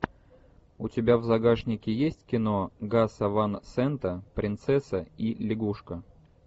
у тебя в загашнике есть кино гаса ван сента принцесса и лягушка